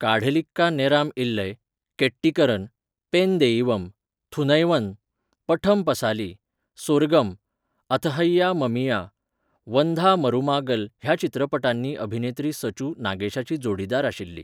काढलिक्का नेराम इल्लय, केट्टीकरन, पेन देइवम, थुनैवन, पठम पसाली, सोर्गम, अथहैया ममिया, वंधा मरुमागल ह्या चित्रपटांनी अभिनेत्री सचू नागेशाची जोडीदार आशिल्ली.